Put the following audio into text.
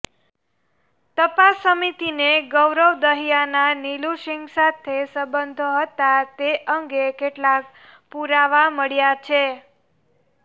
તપાસ સમિતિને ગૌરવ દહીયાના નિલુસિગ સાથે સંબંધો હતા તે અંગે કેટલાક પુરાવા મળ્યા છે